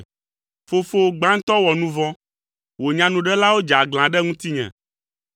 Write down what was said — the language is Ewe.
Fofowò gbãtɔ wɔ nu vɔ̃. Wò nyanuɖelawo dze aglã ɖe ŋutinye,